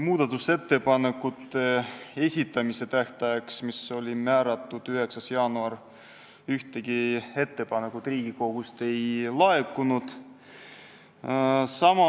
Muudatusettepanekute esitamise tähtajaks, milleks oli määratud 9. jaanuar, ühtegi ettepanekut Riigikogust ei laekunud.